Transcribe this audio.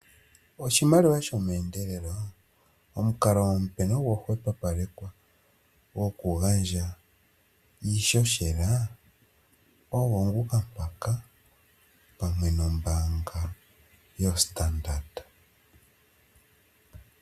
Oshimaliwa shomeendelelo, omukalo omupe nogwa hwepopalekwa gwokugandja iihohela ogwo nguka mpaka, pamwe nombaanga yoStandard.